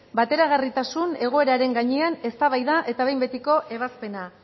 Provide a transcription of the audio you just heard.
bateragarritasun egoeraren gainean eztabaida eta behin betiko ebazpena